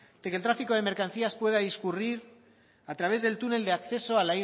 de que el tráfico de mercancías pueda discurrir a través del túnel de acceso